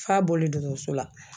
F'a bɔlen dɔkɔtɔrɔso la